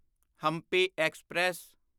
Hampi express